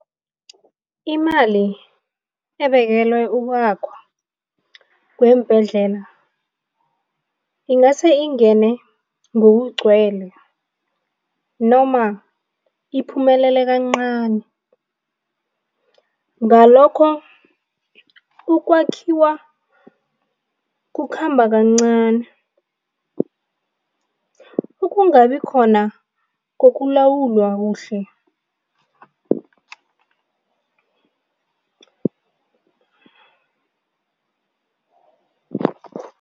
Imali ebekelwe ukwakhwa kweembhedlela ingase ingene ngokugcwele noma iphumelela kancani, ngalokho ukwakhiwa kukhamba kancani. Ukungabikhona kokulawulwa kuhle